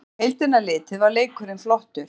Á heildina litið var leikurinn flottur